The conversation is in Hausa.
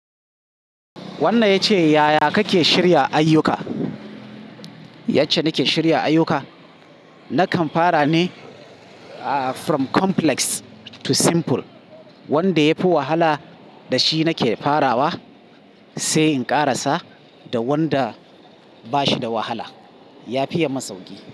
Wannan yace, ya ya kake shirya ayyuka? Yace nake shirya ayyuka, nakan fara ne from complex to simple wanda yafi wahala, da shi nake farawa sai in ƙarasa da wanda bashi da wahala. Yafi ye mun sauƙi.